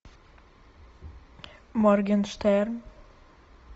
моргенштерн